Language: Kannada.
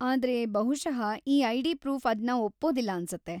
ಆದ್ರೆ ಬಹುಶಃ ಈ ಐಡಿ ಪ್ರೂಫ್‌ ಅದ್ನ ಒಪ್ಪೋದಿಲ್ಲ ಅನ್ಸತ್ತೆ.